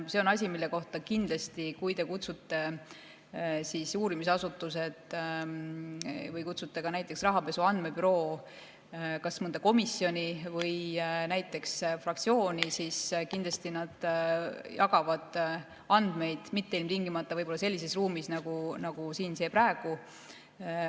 See on asi, mille kohta kindlasti, kui te kutsute uurimisasutused või näiteks Rahapesu Andmebüroo kas mõnda komisjoni või näiteks fraktsiooni, nad jagavad andmeid, seda mitte ilmtingimata võib-olla sellises ruumis, nagu see siin praegu.